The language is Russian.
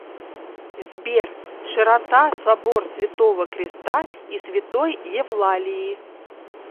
сбер широта собор святого креста и святой евлалии